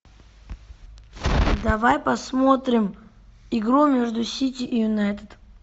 давай посмотрим игру между сити и юнайтед